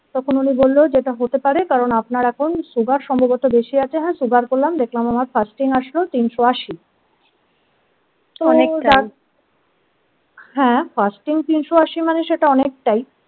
তখন উনি বলল যেটা হতে পারে কারণ আপনার এখন sugar সম্ভবত বেশি আছে হ্যাঁ sugar করলাম দেখলাম আমার fasting আসলো তিনশো আশি হ্যাঁ ফার্স্টিং তিনশো আশি মানে সেটা অনেকটাই।